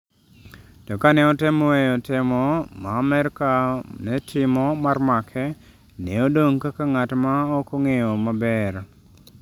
To ka ne otemo weyo temo ma Amerka ne timo mar make, ne odong’ kaka ng’at ma ok ong’eyo maber.